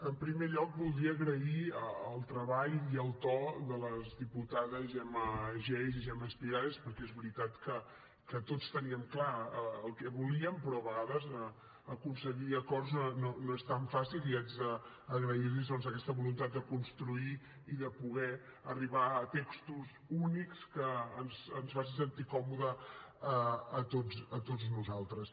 en primer lloc voldria agrair el treball i el to de les diputades gemma geis i gemma espigares perquè és veritat que tots teníem clar el que volíem però a vegades aconseguir acords no és tan fàcil i haig d’agrair los doncs aquesta voluntat de construir i de poder arribar a textos únics que ens facin sentir còmodes a tots nosaltres